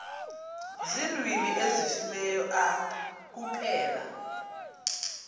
ziilwimi ezifileyo kuphela